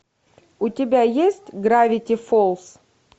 у тебя есть гравити фолс